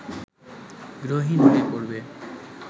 গৃহহীন হয়ে পড়বে